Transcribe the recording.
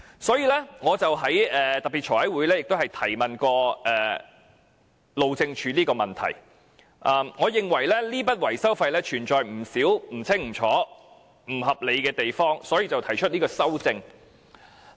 所以，我在財務委員會特別會議曾提問路政署有關問題，我認為這筆維修費存在不少不清不楚、不合理的地方，所以提出這項修正案。